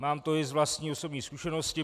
Mám to i z vlastní osobní zkušenosti.